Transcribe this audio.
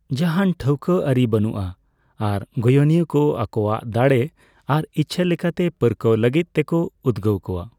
ᱡᱟᱦᱟᱱ ᱴᱷᱟᱹᱣᱠᱟᱹ ᱟᱹᱨᱤ ᱵᱟᱹᱱᱩᱜᱼᱟ ᱟᱨ ᱜᱚᱭᱚᱱᱤᱭᱟᱹ ᱠᱚ ᱟᱠᱳᱣᱟᱜ ᱫᱟᱲᱮ ᱟᱨ ᱤᱪᱪᱷᱟᱹ ᱞᱮᱠᱟᱛᱮ ᱯᱟᱹᱨᱠᱟᱹᱜ ᱞᱟᱹᱜᱤᱫ ᱛᱮᱠᱚ ᱩᱫᱜᱟᱣ ᱠᱚᱣᱟ ᱾